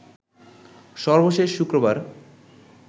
সর্বশেষ শুক্রবার